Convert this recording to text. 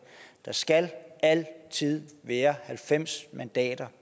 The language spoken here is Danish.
der skal altid være halvfems mandater